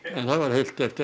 heilt hefti